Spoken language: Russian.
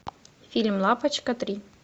фильм лапочка три